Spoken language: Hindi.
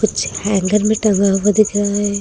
कुछ हैंगर में टंगा हुआ दिख रहा है।